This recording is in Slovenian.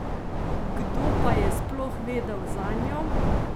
Kdo pa je sploh vedel zanjo?